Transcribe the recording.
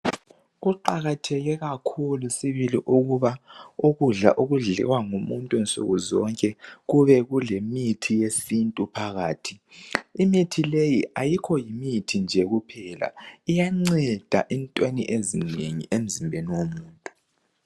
Kuqakatheke kakhulu sibili ukuba ukudla okudliwa ngumuntu nsukuzonke kube kulemithi yesintu phakathi. Imithi leyi ayikho yimithi nje kuphela, iyanceda entweni ezinengi emzimbeni womuntu.